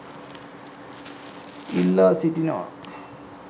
ඉල්ලා සිටිනවා.